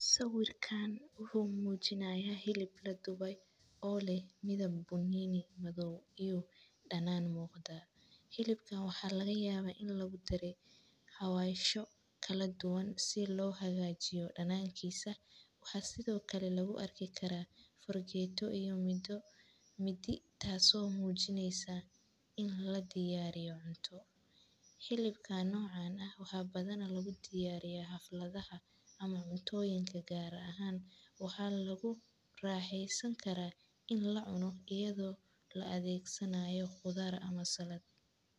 Sawirkan wuxuu mujinayaa hilib laduwe o leh midhab bunini maadhow iyo danan muqdaa, hilibkan waxaa laga yaawa in lagu dare xawasho kaladuwan si lo hagajiyo danankisa, waxaa sithokale lagu arki karaa fargetoo iyo midi taso mujineysa in ladiyariyo cunto, hilibkan nocan ah waxaa badhi lagu diyariya xafladaha, ama cuntoyinka gar ahan, waxaa lagu raxeen San karaa in lacuno ido lo adegsanayo qudhaar ama salato.